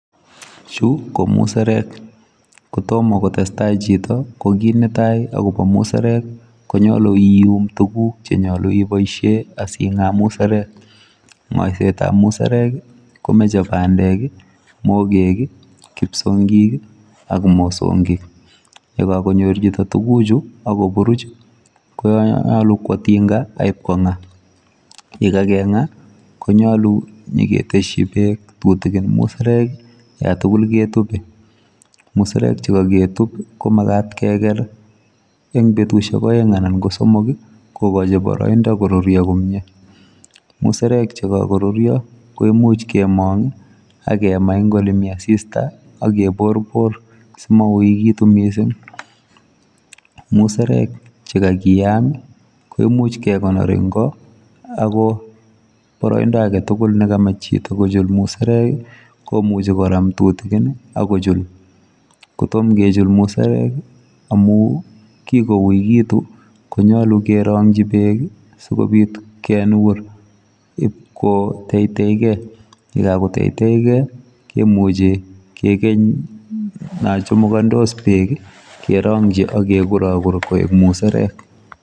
Chu ko muserek, ko tomo kotestai chito, ko kiit netai akobo muserek, konyolu ium tukuk che nyolu iboisie asi ingaa muserek, ngoisetab muserek ii komoche, bandek ii, mogek ii, kipsongik ii ak mosongik, ye kakonyor tukuchu ak koburuch ii konyolu kwo tinga ak ipko nga, ye kakenga konyolu nyiketesyi peek tutikin muserek ii yatugul ketup, muserek che kaketup komakat keker eng betusiek aeng anan ko somok ii, kokochi boroindo koruryo komie, muserek che kakoruryo koimuch kemong ii ak kema eng ole mi asista ak keborbor simauikitu mising, muserek che kakeyam ii, koimuch kekonor eng ko ako boroindo ake tugul ne kamach chito kochul muserek ii komuchi koram tutikin ii ak kochul, kotom kechul muserek ii amu kikouikitu konyolu kerongchi peek ii sikobit kenur ip koteiteikei, ye kakoteiteikei kemuchi kekeny nachamukandos peek ii kerongchi ak kekurakur koek muserek.